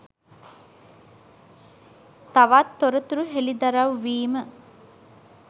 තවත් තොරතුරු හෙළිදරව් වීම